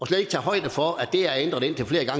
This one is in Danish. slet ikke højde for at det er ændret indtil flere